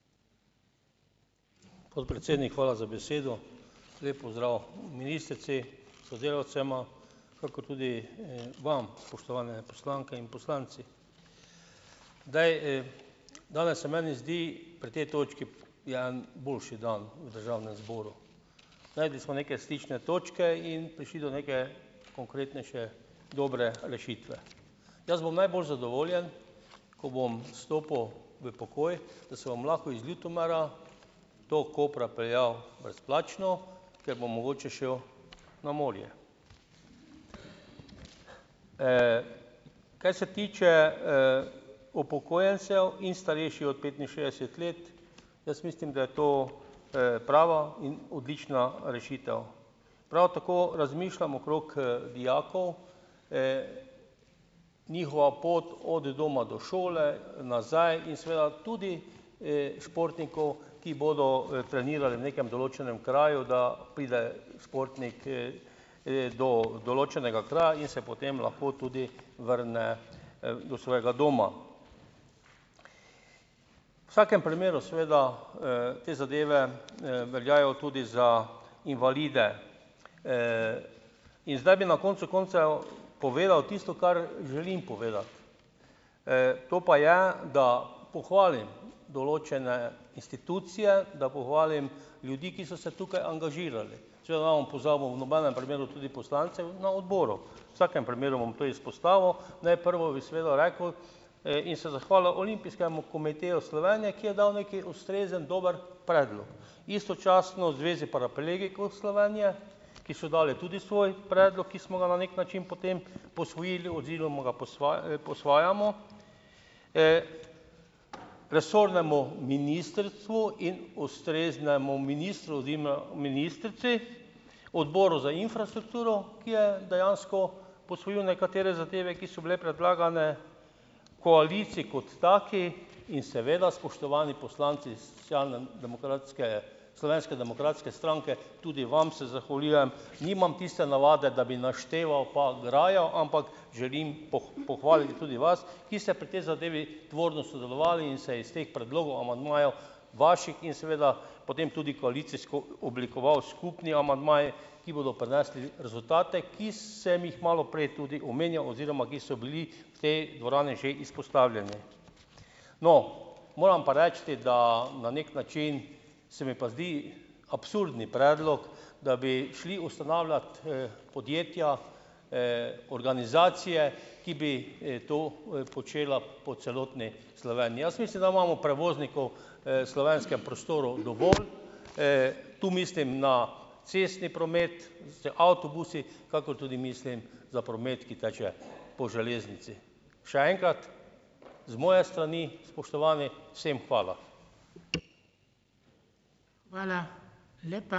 Podpredsednik, hvala za besedo, lep pozdrav ministrici, sodelavcem kakor tudi, vam, spoštovane poslanke in poslanci. Zdaj, danes se meni zdi pri tej točki je en boljši dan v državnem zboru, našli smo neke stične točke in prišli do neke konkretnejše dobre rešitve, jaz bom najbolj zadovoljen, ko bom stopil v pokoj, da se bom lahko iz Ljutomera do Kopra peljal brezplačno, ker bom mogoče šel na morje, kaj se tiče, upokojencev in starejših od petinšestdeset let, jaz mislim, da je to, prava in odlična rešitev, prav tako razmišljam okrog, dijakov, njihova pot od doma do šole nazaj in seveda tudi, športnikov, ki bodo, trenirali v nekem določenem kraju, da pride športnik, do določenega kraja in se potem lahko tudi vrne, do svojega doma vsakem primeru, seveda, te zadeve, veljajo tudi za invalide, in zdaj bi na koncu koncev povedal tisto, kar želim povedati, to pa je, da pohvalim določene institucije, da pohvalim ljudi, ki so se tukaj angažirali, če ne bom pozabil v nobenem primeru tudi poslancev na odboru, v vsakem primeru bom to izpostavil, da je prvo, bi seveda rekel, in se zahvalil Olimpijskemu komiteju Slovenije, ki je dal nekaj ustrezen dober predlog istočasno Zvezi paraplegikov Slovenije, ki so dali tudi svoj predlog, ki smo ga na neki način potem posvojili oziroma ga posvajamo, resornemu ministrstvu in ustreznemu ministru oziroma ministrici, odboru za infrastrukturo, ki je dejansko posvojila nekatere zadeve, ki so bile predlagane koaliciji kot taki, in seveda spoštovani poslanci socialne demokratske, Slovenske demokratske stranke, tudi vam se zahvaljujem, nimam tiste navade, da bi našteval pa grajal, ampak želim pohvaliti tudi vas, ki se pri tej zadevi tvorno sodelovali in se iz teh predlogov amandmajov vaših in seveda potem tudi koalicijsko oblikoval skupni amandmaji, ki bodo prinesli rezultate, ki sem jih malo prej tudi omenjal oziroma ki so bili v tej dvorani že izpostavljeni. No, moram pa reči, da na neki način se mi pa zdi absurden predlog, da bi šli ustanavljati, podjetja, organizacije, ki bi, to počela po celotni Sloveniji, jaz mislim, da imamo prevoznikov, slovenskem prostoru dovolj, tu mislim na cestni promet z avtobusi, kakor tudi mislim za promet, ki teče po železnici, še enkrat z moje strani, spoštovani, vsem hvala.